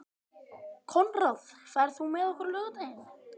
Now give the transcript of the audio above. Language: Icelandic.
Konráð, ferð þú með okkur á laugardaginn?